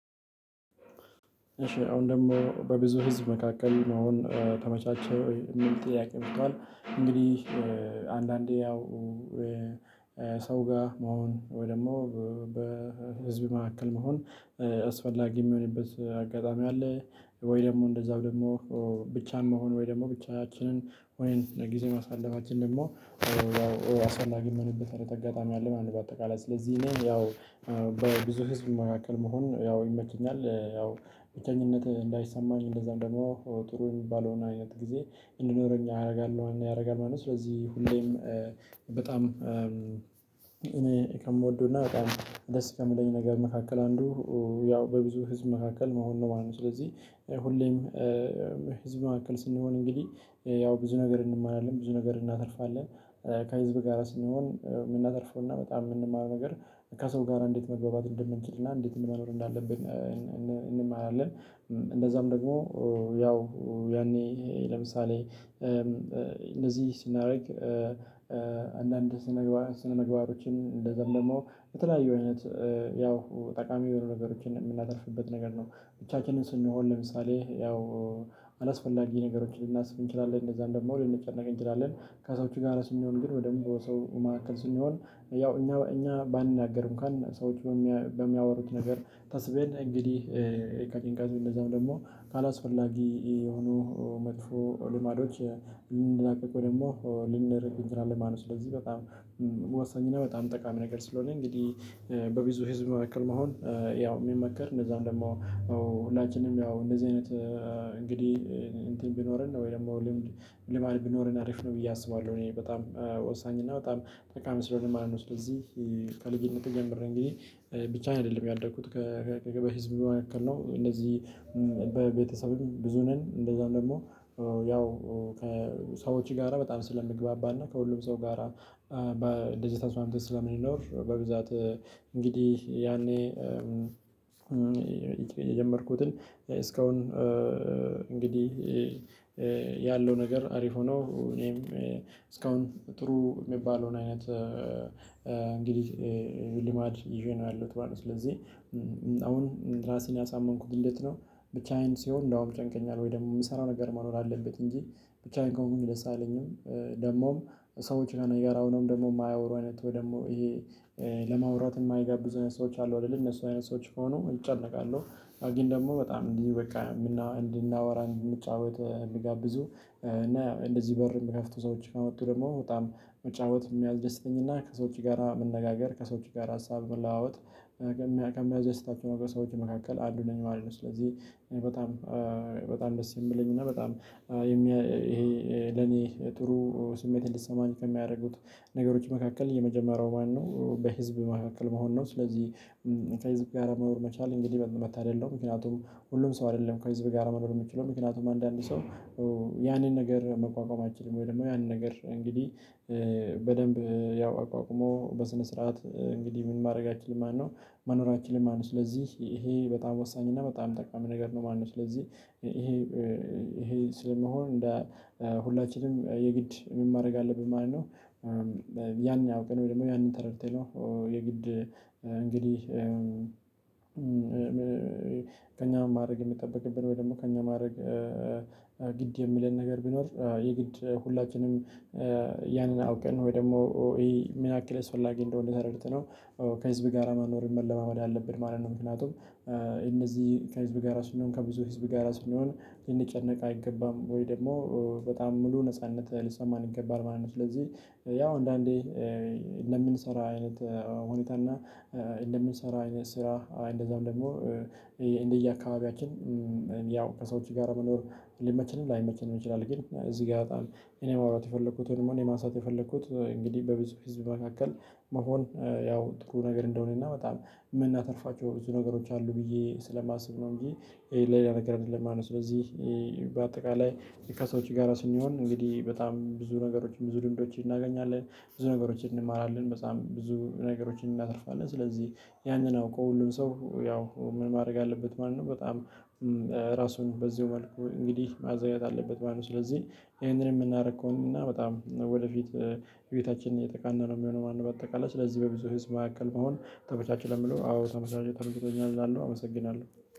እሺ አሁን ደግሞ በብዙ ህዝብ መካከል መሆን ተመቻቸህ ወይ የሚል ጥያቄ መጥቷል? እንግዲህ። አንዳንዴ ያው ሰው ጋር መሆን ወይ ደግሞ በህዝብ መካከል መሆን አስፈላጊ የሚሆንበት አጋጣሚ አለ። ወይ ደግሞ እንደዛው ደግሞ ብቻን መሆን ወይ ደግሞ ብቻያችንን ወይንም ጊዜ ማሳለፋችን ደግሞ ያው አሰላጊ የሚሆንበት አይነት አጋጣሚ አለ። በአጠቃላይ ስለዚህ እኔ ያው በብዙ ህዝብ መካከል መሆን ያው ይመቸኛል ያው ብቸኝነት እንዳይሰማኝ እንደዛ ደግሞ ጥሩ የሚባለውን አይነት ጊዜ እንድኖረኝ ያደርጋል ማለት ነው። ስለዚህ ሁሌም በጣም እኔ ከምወደው እና በቃ ደስ ከምለኝ ነገር መካከል አንዱ ያው በብዙ ህዝብ መካከል መሆን ነው ማለት ነው። ስለዚህ ሁሌም ህዝብ መካከል ስንሆን እንግዲህ ያው ብዙ ነገር እንማራለን ብዙ ነገር እናተርፋለን። ከህዝብ ጋር ስንሆን የምናተርፈው እና በጣም የምንማረው ነገር ከሰው ጋር እንዴት መግባባት እንደምንችል እና እንዴት መኖር እንዳለብን እንማራለን። እንደዛም ደግሞ ያው ያኔ ለምሳሌ እነዚህ ስናደርግ አንዳንድ ስነምግባሮችን እንደዛም ደግሞ የተለያዩ አይነት ያው ጠቃሚ የሆኑ ነገሮችን የምናተርፍበት ነገር ነው። ብቻችንን ስንሆን ለምሳሌ ያው አላስፈላጊ ነገሮችን ልናስብ እንችላለን እንደዛ እንደዛውም ደግሞ ልንጨነቅ እንችላለን። ከሰዎች ጋር ስንሆን ግን ወይ ደግሞ በሰው ማዕከል ስንሆን ያው እኛ እኛ ባንናገር እንኳን ሰዎች በሚያወሩት ነገር ታስበን እንግዲህ ከጭንቀት እንደዛም ደግሞ ካላስፈላጊ የሆኑ መጥፎ ልማዶች ልንላቀቅ ወይ ደግሞ ልንርቅ እንቺላለን ማለት ነው። ስለዚህ በጣም ወሳኝ እና በጣም ጠቃሚ ነገር ስለሆነ እንግዲህ በብዙ ህዝብ መካከል መሆን። ያው የሚመከር እንደዛውም ደግሞ ሁላችንም ያው እንደዚህ አይነት እንግዲህ እንትን ቢኖረን ወይ ደግሞ ልማድ ቢኖርን አሪፍ ነው ብዬ አስባለሁ። እኔ በጣም ወሳኝ እና በጣም ጠቃሚ ስለሆነ ማለት ነው። ስለዚህ ከልጅነት ጀምሮ እንግዲህ ብቻዬን አይደለም ያደግኩት ከገበያ ህዝብ በመካከል ነው። እነዚህ በቤተሰብም ብዙ ነን እንደዛው ደግሞ ያው ከሰዎች ጋራ በጣም ስለምግባባና ከሁሉም ሰው ጋራ በደስታ ስማምት ስለሚኖር። በብዛት እንግዲህ ያኔ የጀመርኩትን እስካሁን እንግዲህ ያለው ነገር አሪፍ ሆኖ እኔም እስካሁን ጥሩ የሚባለውን አይነት እንግዲህ ሊማድ ይዤ ነው። ያለሁት ባለው ስለዚህ አሁን ራሴን ያሳመንኩት እንዴት ነው? ብቻዬን ሲሆን እንደውም ይጨንቀኛል ወይ ደግሞ የምሰራው ነገር መኖር አለበት እንጂ ብቻዬን ነው ከሆንኩኝ ደስ አለኝም። ደግሞም ሰዎች ነው የጋራውንም ደግሞ የማያወሩ አይነት ወይ ደግሞ ይሄ ለማውራት የማይጋብዙ ሰዎች አሉ አይደል እነሱ አይነት ሰዎች ከሆኑ እጨነቃለው። አግኝ ደግሞ በጣም እንዲህ በቃ እንድናወራ እንድንጫወት እሚጋብዙ እና እንደዚህ በር የምከፍቱ ሰዎች ከመጡ ደግሞ በጣም መጫወት የሚያስደስተኝና ከሰው እጅ ጋራ መነጋገር ከሰው እጅ ጋራ ሀሳብ መለዋወጥ ከሚያስደስታቸው ሰዎች መካከል አንዱ ነኝ ማለት ነው። ስለዚህ በጣም በጣም ደስ የሚለኝ እና በጣም ይሄ ለኔ ጥሩ ስሜት እንድትሰማኝ ከሚያደርጉት ነገሮች መካከል የመጀመሪያው ዋናው በህዝብ መካከል መሆን ነው። ስለዚህ ከህዝብ ጋር መኖር መቻል እንግዲህ መታደል ነው። ምክንያቱም ሁሉም ሰው አይደለም ከህዝብ በጋራ መኖር የምችለው ምክንያቱም አንዳንድ ሰው ያንን ነገር መቋቋማችንን ወይ ደግሞ ያንን ነገር እንግዲህ በደንብ ያው አቋቁሞ በስነ ስርዓት እንግዲህ ምን ማድረግ አይችልም ማነው መኖር አይችልም ማለት ነው። ስለዚህ ይሄ በጣም ወሳኝ እና በጣም የምትጠቀመው ነገር ነው። ማነው ስለዚህ ይሄ ይሄ ስለመሆን ሁላችንም የግድ ምን ማድረግ አለብን ማለት ነው። ያንን አውቀን ወይ ደግሞ ያንን ተረድተን ነው የግድ እንግዲህ ከኛ ማድረግ የሚጠበቅብን ወይ ደግሞ ከእኛ ማድረግ ግድ የምለን ነገር ቢኖር የግድ ሁላችንም ያንን አውቀን ወይ ደግሞ ይሄ ምን ያክል አስፈላጊ እንደሆነ ተረድተነው ከህዝብ ጋር መኖር መለማመድ አለብን ማለት ነው። ምክንያቱም እነዚህ ከህዝብ ጋር ስንሆን ከብዙ ህዝብ ጋር ስንሆን ልንጨነቅ አይገባም ወይ ደግሞ በጣም ሙሉ ነጻነት ሊሰማን ይገባል ማለት ነው። ስለዚህ ያው አንዳንዴ እንደምንሰራ አይነት ሁኔታ እና እንደምንሰራ አይነት ስራ እንደዛው ደግሞ እንደየአካባቢያችን ያው ከሰዎች ጋር መኖር ሊመችንም ላይመችንም ይችላል። ግን እዚህ ጋር ያጣል እኔ ማውራት የፈለኩት ደግሞ እኔ ማንሳት የፈለኩት እንግዲህ በብዙ ህዝብ መካከል መሆን ያው ጥሩ ነገር እንደሆነና በጣም የምናተርፋቸው ብዙ ነገሮች አሉ ብዬ ስለማስብ ነው እንጂ ሌላ ነገር አይደለም። ማነው ስለዚህ በአጠቃላይ ከሰዎች ጋር ስንሆን እንግዲህ በጣም ብዙ ነገሮችን ብዙ ድምዶችን እናገኛለን። ብዙ ነገሮችን እንማራለን። በጣም ብዙ ነገሮችን እናተርፋለን። ስለዚህ ያንን አውቆ ሁሉም ሰው ያው ምን ማድረግ አለበት ማለት ነው። በጣም ራሱን በዚሁ መልኩ እንግዲህ ማዘጋጀት አለበት ማለት ነው። ስለዚህ ይሄንን የምናደርገው እና በጣም ወደፊት ቤታችን የተቃነነው የሚሆነው ማነው በአጠቃላይ ስለዚህ በብዙ ህዝብ መካከል መሆን ተመቻች ለሚለው አዎ ተመቻች ተመችቶኛል እላለሁ አመሰግናለሁ።